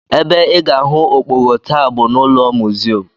Ebe ị ga-ahụ okpogho taa bụ n'ụlọ museum